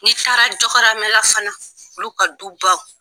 N'i taara jɔhɔrɔmɛla fana olu ka dubaw